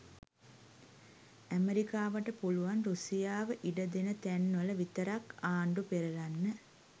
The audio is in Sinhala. ඇමෙරිකාවට පුළුවන් රුසියාව ඉඩ දෙන තැන් වල විතරක් ආණ්ඩු පෙරලන්න.